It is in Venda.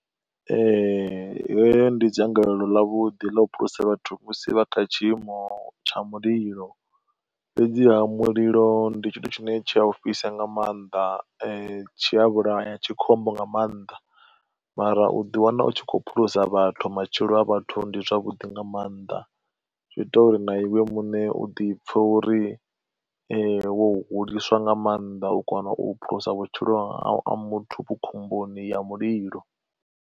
Heyo ndi dzangalelo ḽa vhuḓi ḽo phulusa vhathu musi vha kha tshiimo tsha mulilo, fhedziha mulilo ndi tshithu tshine tsha o fhisa nga maanḓa tshiya vhulaya tshi khombo nga maanḓa, mara u ḓi wana u tshi kho phulusa vhathu matshilo a vhathu ndi zwavhuḓi nga maanḓa, zwi ita uri na iwe muṋe u ḓi pfha uri wo huliswa nga maanḓa u kona u phulusa vhutshilo ha muthu u khomboni ya mulilo.